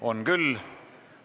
On küll.